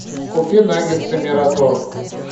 купи наггетсы мираторг